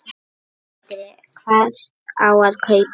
Sindri: Hvað á að kaupa?